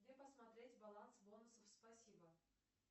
где посмотреть баланс бонусов спасибо